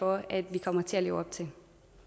for at vi kommer til at leve op til